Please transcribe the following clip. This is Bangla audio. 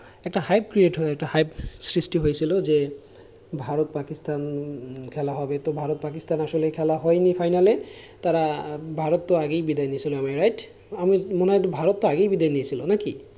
একটা hype create হয়েছিল একটা hype সৃষ্টি হয়েছিল যে ভারত পাকিস্তান খেলা হবে। তো ভারত পাকিস্তান আসলে খেলা হয়নি final লে। তারা ভারত তো আগেই বিদায় নিয়েছিলো right মনে হয় ভারত আগেই তো বিদায় নিয়েছিল নাকি?